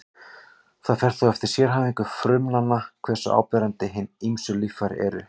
Það fer þó eftir sérhæfingu frumnanna hversu áberandi hin ýmsu líffæri eru.